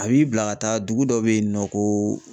A b'i bila ka taa dugu dɔ bɛ yen nɔ ko.